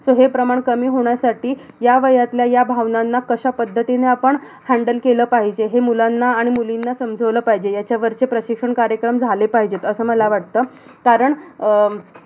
So हे प्रमाण कमी होण्यासाठी, ह्या वयातल्या ह्या भावनांना कशापद्धतीने आपण handle केलं पाहिजे, हे मुलांना आणि मुलींना समजावलं पाहिजे. ह्याच्यावरचे प्रशिक्षण कार्यक्रम झाले पाहिजे. असं मला वाटतं, कारण अं